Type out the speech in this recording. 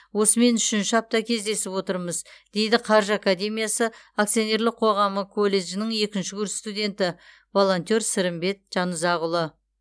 осымен үшінші апта кездесіп отырмыз дейді қаржы академиясы акционерлік қоғамы колледжінің екінші курс студенті волонтер сырымбет жанұзақұлы